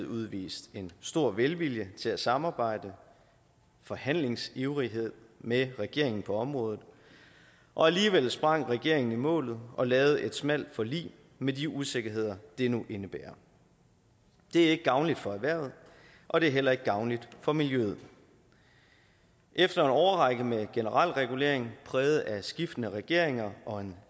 udvist en stor velvilje til at samarbejde og forhandlingsivrighed med regeringen på området og alligevel sprang regeringen fra i målet og lavede et smalt forlig med de usikkerheder det nu indebærer det er ikke gavnligt for erhvervet og det er heller ikke gavnligt for miljøet efter en årrække med generel regulering præget af skiftende regeringer og en